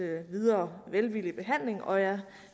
videre velvillige behandling og jeg